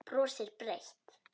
Brosir breitt.